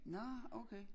Nåh okay